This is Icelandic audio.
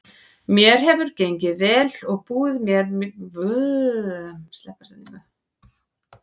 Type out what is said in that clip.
Mér hefur gengið vel og búið mér til nafn hérna.